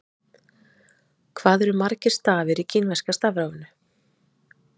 hvað eru margir stafir í kínverska stafrófinu